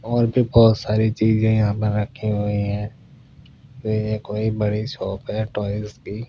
और भी बहुत सारी चीजें यहाँ पर रखी हुई हैं तो ये कोई बड़ी शॉप है टॉयस की।